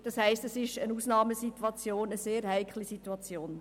Dies ist eine Ausnahmesituation, und es ist eine sehr heikle Situation.